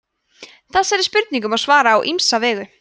þessari spurningu má svara á ýmsa vegu